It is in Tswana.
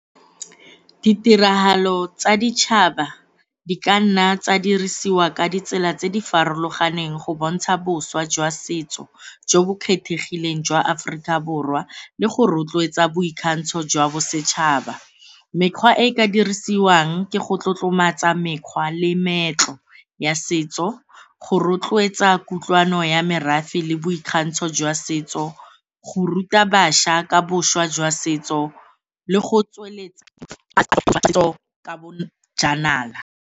Ditiragalo tsa ditšhaba di ka nna tsa dirisiwa ka ditsela tse di farologaneng go bontsha boswa jwa setso jo bo kgethegileng jwa Aforika Borwa le go rotloetsa boikgantsho jwa bosetšhaba. Mekgwa e e ka dirisiwang ke go tlotlomatsa mekgwa le meetlo ya setso, go rotloetsa kutlwano ya merafe le boikgantsho jwa setso, go ruta bašwa ka boswa jwa setso le go tsweletsa setso ka bojanala.